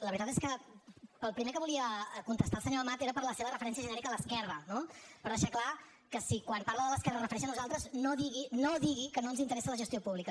la veritat és que pel primer que volia contestar al senyor amat era per la seva referència genèrica a l’esquerra no per deixar clar que si quan parla de l’esquerra es refereix a nosaltres no digui no digui que no ens interessa la gestió pública